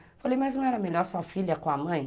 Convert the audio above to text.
Eu falei, mas não era melhor sua filha com a mãe?